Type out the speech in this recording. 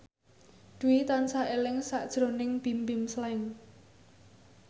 Dwi tansah eling sakjroning Bimbim Slank